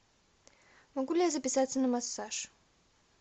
могу ли я записаться на массаж